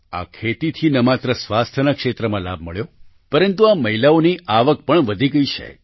આ ખેતીથી ન માત્ર સ્વાસ્થ્યના ક્ષેત્રમાં લાભ મળ્યો પરંતુ આ મહિલાઓની આવક પણ વધી ગઈ છે